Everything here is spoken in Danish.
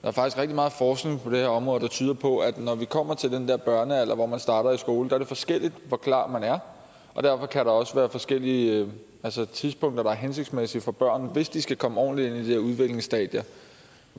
meget forskning på det her område der tyder på at når vi kommer til den der børnealder hvor man starter i skolen er det forskelligt hvor klar man er og derfor kan der også være forskellige tidspunkter der er hensigtsmæssige for børnene hvis de skal komme ordentligt ind i de her udviklingsstadier